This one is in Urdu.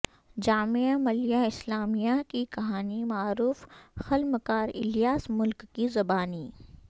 جامعہ ملیہ اسلامیہ کی کہانی معروف قلمکار الیاس ملک کی زبانی